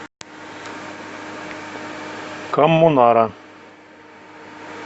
коммунара